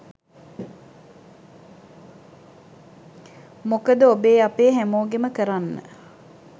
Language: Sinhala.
මොකද ඔබේ අපේ හැමෝගෙම කරන්න